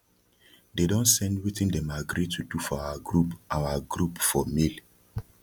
they don send wetin dem agree to do for our group our group for mail